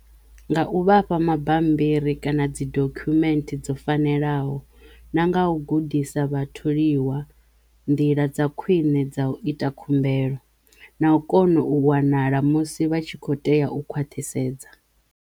Nga u vhafha mabambiri kana dzi dokhumenthe dzo fanelaho na nga u gudisa vhatholiwa nḓila dza khwiṋe dza u ita khumbelo na u kono u wanala musi vha tshi kho tea u khwathisedza.